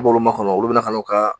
N b'olu makɔnɔ, olu bɛna kan'u kaa